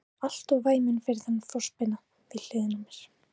Ég er orðinn alltof væminn fyrir þennan frostpinna við hliðina á mér.